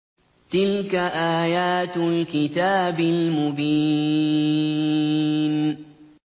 تِلْكَ آيَاتُ الْكِتَابِ الْمُبِينِ